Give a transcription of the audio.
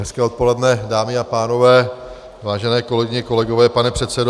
Hezké odpoledne, dámy a pánové, vážené kolegyně, kolegové, pane předsedo.